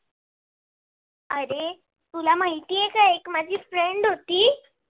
अरे तुला माहिती आहे का? एक माझी friend होती.